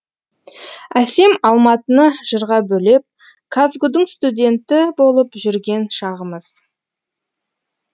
әсем алматыны жырға бөлеп казгу дің студенті болып жүрген шағымыз